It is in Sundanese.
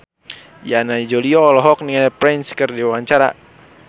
Yana Julio olohok ningali Prince keur diwawancara